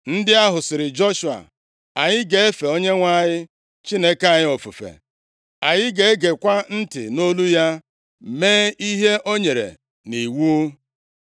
Ndị ahụ sịrị Joshua, “Anyị ga-efe Onyenwe anyị Chineke anyị ofufe. Anyị ga-egekwa ntị nʼolu ya, mee ihe o nyere nʼiwu.”